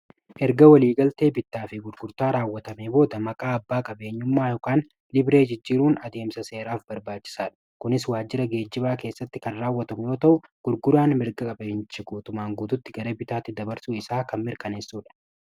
erga walii galtee bitaa fi gurgurtaa raawwatame booda maqaa abbaa qabeenyummaayokan libree jijjiiruun adeemsa seeraaf barbaachisaadha kunis waajjira geejjibaa keessatti kan raawwatamyoo ta'u gurguraan mirga qabeencha guutumaan guututti gara bitaatti dabarsuu isaa kan mirkaneessuudha